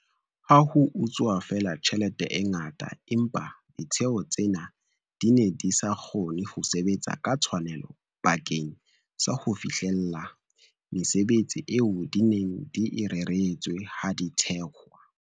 Ha ho a utsuwa feela tjhelete e ngata, empa ditheo tsena di ne di sa kgone ho sebetsa ka tshwanelo bakeng sa ho fihlella mesebetsi eo di neng di e reretswe ha di thehwa.